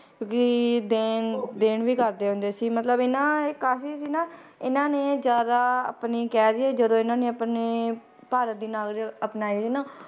ਕਿਉਂਕਿ ਦੇਣ ਦੇਣ ਵੀ ਕਰਦੇ ਹੁੰਦੇ ਸੀ ਮਤਲਬ ਇਹ ਨਾ ਇਹ ਕਾਫ਼ੀ ਸੀ ਨਾ ਇਹਨਾਂ ਨੇ ਜ਼ਿਆਦਾ ਆਪਣੇ ਕਹਿ ਦੇਈਏ ਜਦੋਂ ਇਹਨਾਂ ਨੇ ਆਪਣੇ ਭਾਰਤ ਦੀ ਨਾਗਰਿ~ ਅਪਣਾਈ ਸੀ ਨਾ